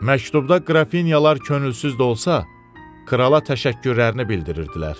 Məktubda Qrafinyalar könülsüz də olsa krala təşəkkürlərini bildirirdilər.